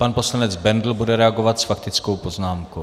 Pan poslanec Bendl bude reagovat s faktickou poznámkou.